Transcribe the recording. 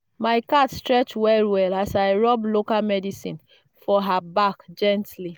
my cat stretch well well as i rub local medicine for her back gently.